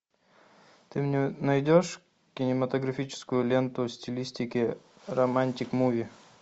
ты мне найдешь кинематографическую ленту стилистики романтик муви